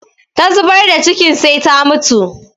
Ta zubar da cikin sai ta mutu